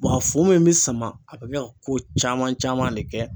a fu mun bɛ sama a bɛ kɛ ka ko caman caman de kɛ.